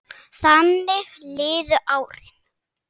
Þannig liðu árin.